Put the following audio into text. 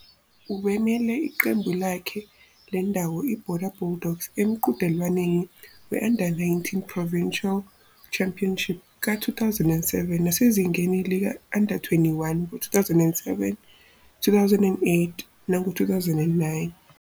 Ubemele iqembu lakhe lendawo IBorder Bulldogs emqhudelwaneni we-Under-19 Provincial Championship ka-2007 nasezingeni lika-Under-21 ngo-2007, 2008 nango-2009.